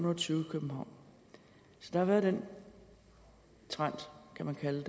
og tyve i københavn så der har været den trend kan man kalde